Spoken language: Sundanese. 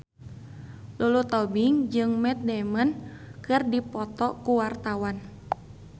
Lulu Tobing jeung Matt Damon keur dipoto ku wartawan